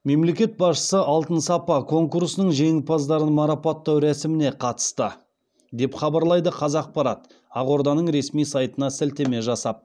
мемлекет басшысы алтын сапа конкурсының жеңімпаздарын марапаттау рәсіміне қатысты деп хабарлайды қазақпарат ақорданың ресми сайтына сілтеме жасап